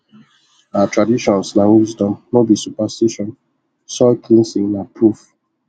our traditions na wisdom no be superstition soil cleansing na proof